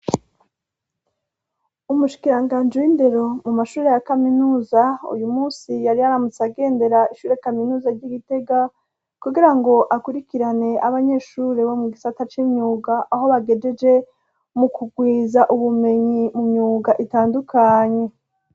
Umushikiranganji w'indero mu mashure ya kaminuza, uyu munsi yari yaramutse agendera ishure kaminuza ry'Igitega kugira ngo akurikirane abanyeshure bo mu gisata c'imyuga, aho bagejeje mu kugwiza ubumenyi mu myuga itandukanye.